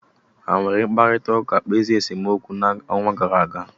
Ha were mkparịta ụka kpezie nsemokwu n'ọnwa gara aga?